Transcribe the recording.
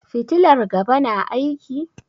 Fitilar gaba na aiki?